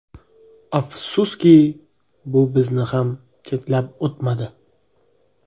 Afsuski, bu bizni ham chetlab o‘tmadi.